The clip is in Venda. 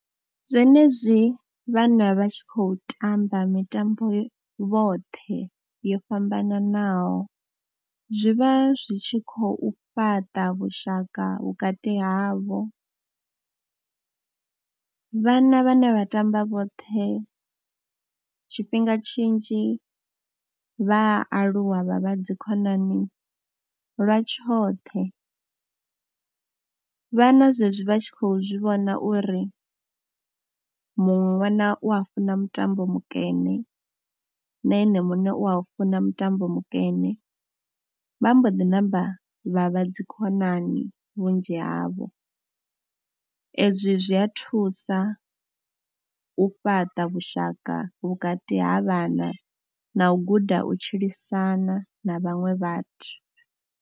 Zwenezwi vhana vha tshi khou tamba mitambo vhoṱhe yo fhambananaho zwi vha zwi tshi khou fhaṱa vhushaka vhukati havho. Vhana vhane vha tamba vhoṱhe tshifhinga tshinzhi vha aluwa vha vha dzikhonani lwa tshoṱhe, vhana zwezwi vha tshi khou zwi vhona uri muṅwe ṅwana u a funa mutambo mukene na ene muṋe u a u funa mutambo mukene, vha mbo ḓi namba vha vha dzikhonani vhunzhi havho. Ezwi zwi a thusa u fhaṱa vhushaka vhukati ha vhana na u guda u tshilisana na vhaṅwe vhathu.